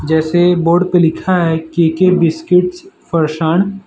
जैसे बोर्ड पे लिखा है के_के बिस्किट्स ।